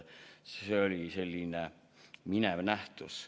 See oli selline minev nähtus.